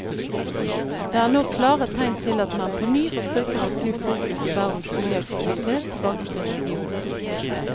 Det er nå klare tegn til at man på ny forsøker å snu fokus i verdens oljeaktivitet tilbake til regionen.